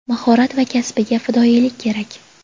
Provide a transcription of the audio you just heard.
mahorat va kasbiga fidoyilik kerak.